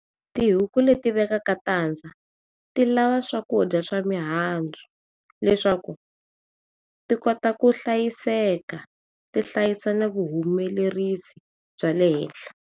Tihuku leti vekaka tadza ti na swakudya swa mihandzu leswaku ti kota ku hlayiseka ti hlayekela vu humelerisi byale hehla.